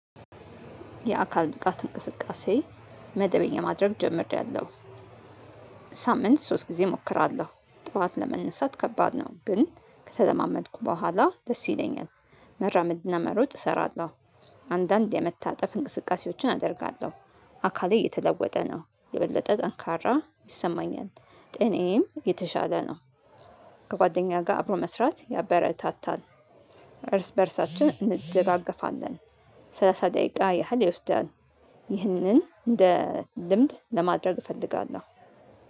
የአካል እንቅስቃሴ መደበኛ ማድረግ ጀመርያለው ሳምንት ሶስት ጊዜ እሞክራለሁ። ጠዋት ለመነሳት ከባድ ነው ግን ከተለማመድኩ በኋላ ደስ ይለኛል መራመድና መሮጥ እሰራለሁ። አንዳንድ የመታጠፍ እንቅስቃሴዎችን አደርጋለሁ። አካሌ እየተለወጠ ነው የበለጠ ጠንካራ ይሰማኛል ጤናዬም የተሻለ ነው ከጓደኛ ጋር አብሮ መስራት ያበረታታል። እርስ በእርሳችን እንደጋገፋለን ሰላሳ ደቂቃ ያህል ይወስዳል። ይህንን እንደ ልምድ ለማድረግ እፈልጋለሁ።